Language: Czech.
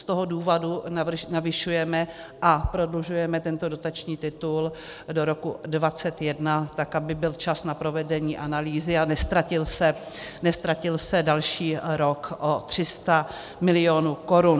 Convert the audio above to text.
Z toho důvodu navyšujeme a prodlužujeme tento dotační titul do roku 2021, tak aby byl čas na provedení analýzy a neztratil se další rok o 300 mil. korun.